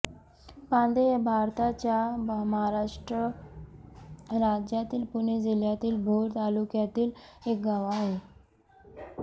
पांदे हे भारताच्या महाराष्ट्र राज्यातील पुणे जिल्ह्यातील भोर तालुक्यातील एक गाव आहे